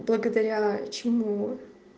благодаря чему